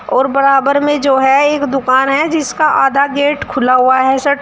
और बराबर में जो है एक दुकान है जिसका आधा गेट खुला हुआ है शटर --